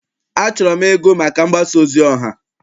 Achọrọ m ịgụ maka mgbasa ozi ọha.